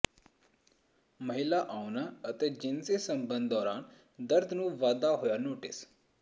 ਮਹਿਲਾ ਆਉਣਾ ਅਤੇ ਜਿਨਸੀ ਸੰਬੰਧ ਦੌਰਾਨ ਦਰਦ ਨੂੰ ਵਾਧਾ ਹੋਇਆ ਨੋਟਿਸ